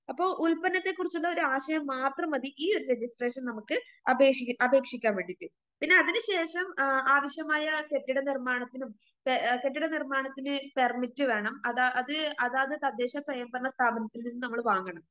അപ്പൊ ഉൽപ്പന്നത്തെക്കുറിച്ചുള്ളൊരാശയം മാത്രം മതി ഈയൊരു രജിസ്‌ട്രേഷൻ നമുക്ക് അപേക്ഷി അപേക്ഷിക്കുവാൻ വേണ്ടിട്ട്.പിന്നെ അതിനുശേഷം ആ ആവശ്യമായ കെട്ടിടനിർമ്മാണത്തിനും പേ കെട്ടിടനിർമ്മാണത്തിന് പെർമിറ്റ് വേണം അതാ അത് അതാത് തദ്ദേശസ്വയംഭരണസ്ഥാപനത്തിൽ നിന്ന് നമ്മള് വാങ്ങണം.